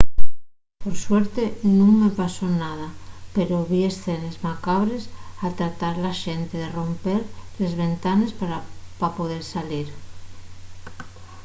por suerte nun me pasó nada pero vi escenes macabres al tratar la xente de romper les ventanes pa poder salir